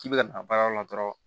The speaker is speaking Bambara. K'i bɛ ka baarayɔrɔ la dɔrɔn